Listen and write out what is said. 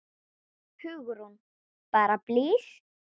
Hugrún: Bara blys?